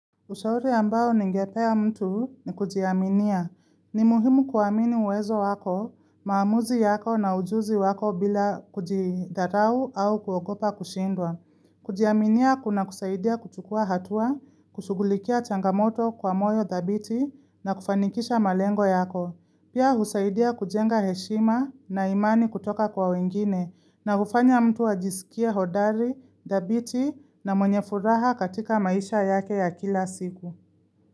Ushauri ambao ningepea mtu ni kujiaminia. Ni muhimu kuwamini uwezo wako, maamuzi yako na ujuzi wako bila kujidharau au kuokopa kushindwa. Kujiaminia kuna kusaidia kuchukua hatua, kushugulikia changamoto kwa moyo dhabiti na kufanikisha malengo yako. Pia husaidia kujenga heshima na imani kutoka kwa wengine na ufanya mtu ajisikia hodari, dabiti na mwenye furaha katika maisha yake ya kila siku.